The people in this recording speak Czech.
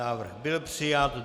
Návrh byl přijat.